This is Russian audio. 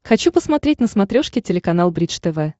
хочу посмотреть на смотрешке телеканал бридж тв